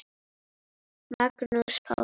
Magnús Páll.